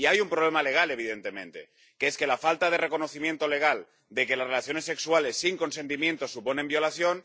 Y hay un problema legal, evidentemente, que es que la falta de reconocimiento legal de que las relaciones sexuales sin consentimiento suponen violación.